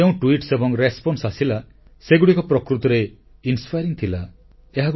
ଯେଉଁ ଟୁଇଟ ଏବଂ ପ୍ରତିକ୍ରିୟା ଆସିଲା ସେଗୁଡ଼ିକ ପ୍ରକୃତରେ ପ୍ରେରଣାଦାୟୀ ଥିଲା